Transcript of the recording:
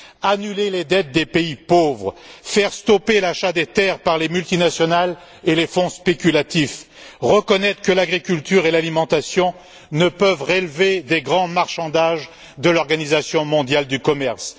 annuler les dettes des pays pauvres, faire stopper l'achat des terres par les multinationales et les fonds spéculatifs, et reconnaître que l'agriculture et l'alimentation ne peuvent relever des grands marchandages de l'Organisation mondiale du commerce.